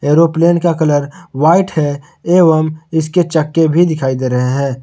Aeroplane का colour white है एवं इसके चक्के भी दिखाई दे रहे हैं।